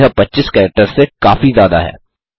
यह 25 कैरेक्टर्स से काफी ज्यादा है